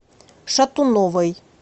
шатуновой